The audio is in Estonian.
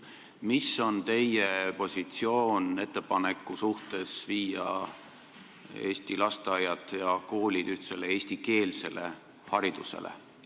Milline on teie positsioon ettepaneku suhtes viia Eesti lasteaiad ja koolid ühtsele eestikeelsele haridusele?